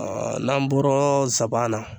N'an bɔra zaban na